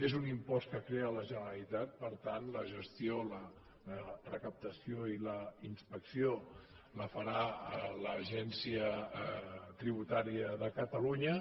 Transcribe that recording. és un impost que crea la generalitat per tant la gestió la recaptació i la inspecció la farà l’agencia tributària de catalunya